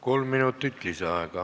Kolm minutit lisaaega.